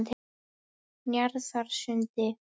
Njarðarsundi